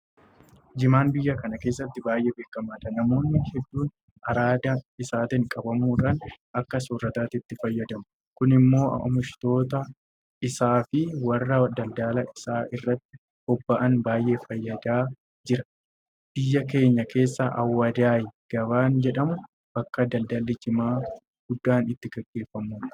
Jimaan biyya kana keessatti baay'ee beekamaadha. Namoonni hedduun araada isaatiin qabamuudhaan akka soorrataatti itti fayyadamu. Kun immoo oomishtoota isaafi warra daldala isaa irratti bobba'an baay'ee fayyadaa jira. Biyya keenya keessaa Awwadaay gabaan jedhamu bakka daldalli Jimaa guddaan itti gaggeeffamudha.